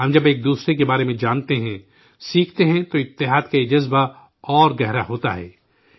ہم جب ایک دوسرے کے بارے میں جانتے ہیں، سیکھتے ہیں، تو اتحاد کا یہ جذبہ اور مضبوط ہوتا ہے